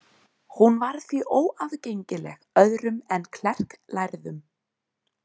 Hún var því óaðgengileg öðrum en klerklærðum.